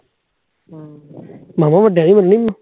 ਜ਼ਿਆਦਾ ਵੱਡਾ ਐ